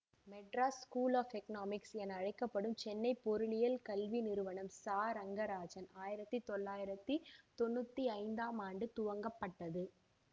Madras School of Economics என அழைக்க படும் சென்னை பொருளியல் கல்வி நிறுவனம் சரங்கராஜன் ஆயிரத்தி தொள்ளாயிரத்தி தொன்னூற்தி ஐந்தாம் ஆண்டு துவங்கப்பட்டது